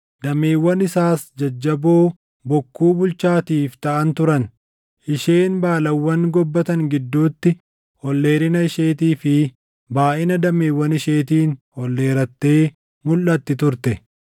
Dameewwan isaas jajjaboo bokkuu bulchaatiif taʼan turan. Isheen baalawwan gobbatan gidduutti ol dheerina isheetii fi baayʼina dameewwan isheetiin ol dheerattee mulʼatti turte.